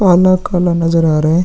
काला काला नजर आ रहा है|